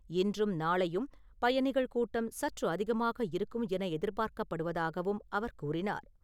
இன்றும், நாளையும் பயணிகள் கூட்டம் சற்று அதிகமாக இருக்கும் என எதிர்பார்க்கப்படுவதாகவும் அவர் கூறினார்.